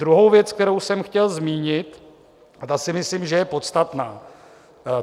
Druhou věc, kterou jsem chtěl zmínit, a ta si myslím, že je podstatná.